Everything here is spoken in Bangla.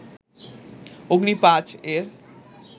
অগ্নি-৫ এর